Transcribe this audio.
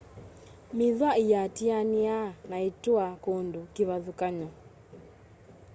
mithwa íatianíaa na itua kundu kivathukany'o